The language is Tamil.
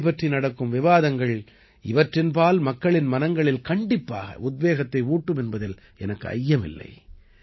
இவை பற்றி நடக்கும் விவாதங்கள் இவற்றின்பால் மக்களின் மனங்களில் கண்டிப்பாக உத்வேகத்தை ஊட்டும் என்பதில் எனக்கு ஐயமில்லை